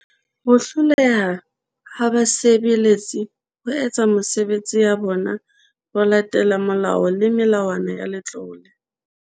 Ho hloleha ha basebe letsi ho etsa mesebetsi ya bona ho latela molao le melawana ya Letlole.